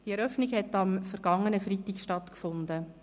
Die Eröffnung hat am vergangenen Freitag stattgefunden.